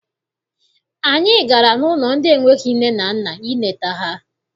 Anyị gara n'ụlọ ndị enweghị nne na nna ileta ha.